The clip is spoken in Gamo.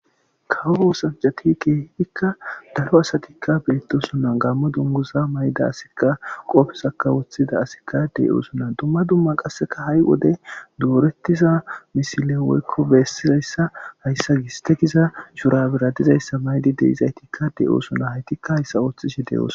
kawousanjati keehidikka daro asatikka beettosonnan gaammo dunguza mayda asikka qoofesaka woththida asikka dey oosuna dumma dumma qasseka ha'i wode doorettiza misile woykko bessizayssa hayssa gistegiza shurabira dizayssa maydi deizaytikka deyoosona haytikka hayssa ooththishe de7oos